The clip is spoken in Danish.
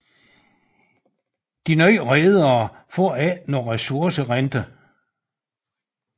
De nye redere får ikke nogen ressourcerente